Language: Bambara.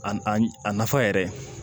A a nafa yɛrɛ